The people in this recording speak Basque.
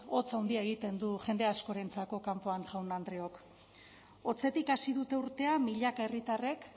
hotz handia egiten du jende askorentzako kanpoan jaun andreok hotzetik hasi dute urtea milaka herritarrek